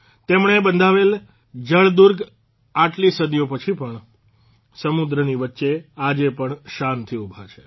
તેમણે બંધાવેલા જળદુર્ગ આટલી સદીઓ પછી પણ સમુદ્રની વચ્ચે આજે પણ શાનથી ઉભા છે